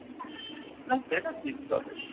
না সেটা ঠিক কথাই।